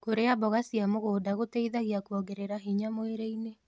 Kũrĩa mboga cia mũgũnda gũteĩthagĩa kũongerera hinya mwĩrĩĩnĩ